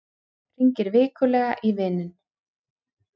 Hringir vikulega í vininn